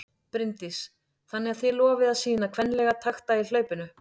Bryndís: Þannig að þið lofið að sýna kvenlega takta í hlaupinu?